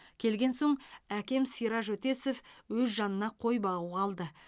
келген соң әкем сираж өтесов өз жанына қой бағуға алды